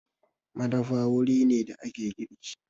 Madafa wuri ne da ake girki.